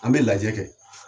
An bɛ lajɛ kɛ